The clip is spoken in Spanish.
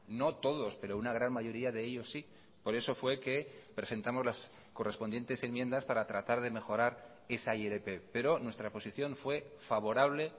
no todos pero una gran mayoría de ellos sí por eso fue que presentamos las correspondientes enmiendas para tratar de mejorar esa ilp pero nuestra posición fue favorable